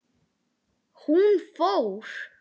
Hún fór.